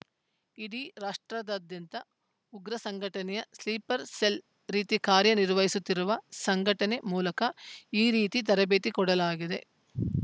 ಇಡೀ ರಾಷ್ಟ್ರದಾದ್ಯಂತ ಉಗ್ರ ಸಂಘಟನೆ ಸ್ಲೀಪರ್‌ ಸೆಲ್‌ ರೀತಿ ಕಾರ್ಯ ನಿರ್ವಹಿಸುತ್ತಿರುವ ಸಂಘಟನೆ ಮೂಲಕ ಈ ರೀತಿ ತರಬೇತಿ ಕೊಡಲಾಗಿದೆ